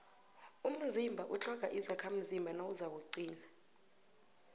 umzimba utlhoga izakhamzimba nawuzakuqina